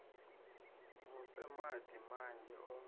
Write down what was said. mu fhe madi manzhi o